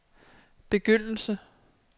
begyndelse